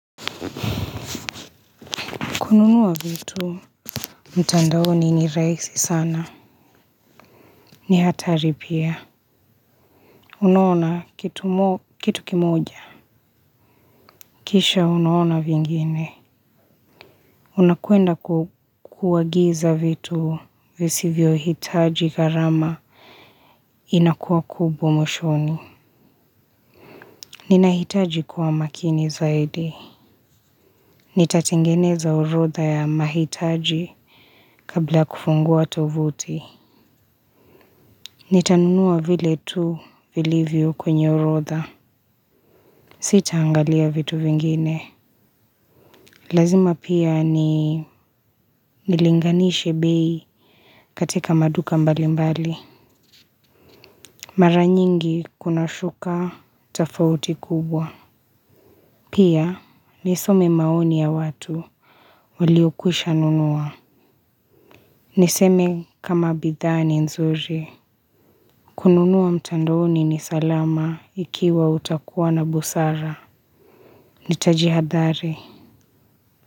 Kununua vitu mtandaoni ni rahisi sana. Ni hatari pia. Unaona kitu kimoja, kisha unaona vingine. Unakwenda kuagiza vitu visivyohitaji gharama. Inakuwa kubwa mwishoni. Ninahitaji kuwa makini zaidi. Nitatengeneza orodha ya mahitaji kabla kufungua tovuti. Nitanunua vile tu vilivyo kwenye orotha. Sitaangalia vitu vingine. Lazima pia ni nilinganishe bei katika maduka mbali mbali. Mara nyingi kuna shuka tofauti kubwa. Pia nisome maoni ya watu waliokwisha nunua. Niseme kama bidhaa ni nzuri. Kununua mtandaoni ni salama ikiwa utakuwa na busara. Nitajihathari.